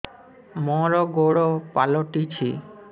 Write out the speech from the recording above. ମୋର ଗୋଡ଼ ପାଲଟିଛି